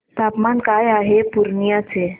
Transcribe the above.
तापमान काय आहे पूर्णिया चे